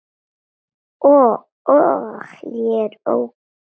Og ég er góð.